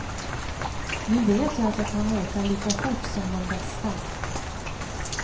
Nu vet jag att jag kan åka lika fort som de bästa.